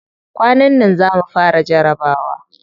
Kwanan nan za mu fara jarabawa.